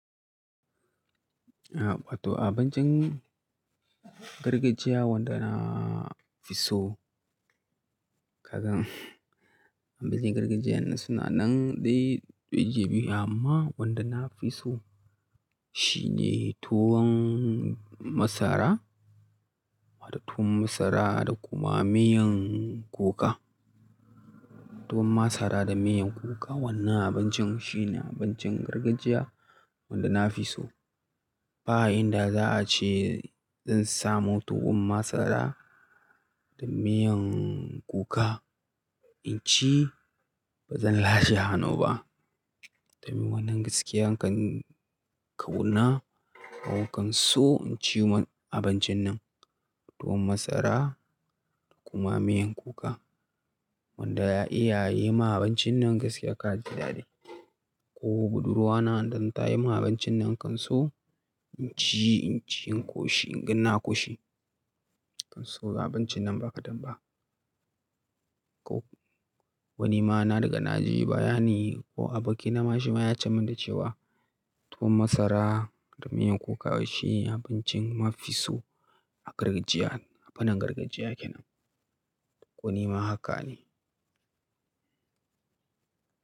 Awato abincin gargajiya wanda na fi so. Kagan abincin gargajiyan suna nan dai ɗaiji biyu amma wanda na fi so shine tuwon masara. Tuwon masara da kuma miyan kuka. Tuwon masara da miyan kuka wannan abincin shine abincin gargajiya wanda na fi so. Ba yanda za a ce zan samu tuwon masara da miyan kuka in ci, ba zan lashe hannu ba. Domin wannan gaskiya nakan kauna ko kan so in ci wannan abincin nan. Tuwon masara da kuma miyan kuka wanda iyaye ma abincin nan gaskiya ka ji daɗi. Ko budurwa na idan ta yi min abincin nan kan so in ci, in ci, in koshi, inga na koshi. Kan so abincin nan ba kadan ba. Ko wani ma na riga naji baya ni ko a bokina ma shi ma ya ce min da cewa tuwon masara da miyan kuka shi ne abincin mafi so a gargajiya, a fannin gargajiya kenan. Ko nima haka ne.